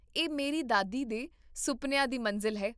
ਇਹ ਮੇਰੀ ਦਾਦੀ ਦੇ ਸੁਪਨਿਆਂ ਦੀ ਮੰਜ਼ਿਲ ਹੈ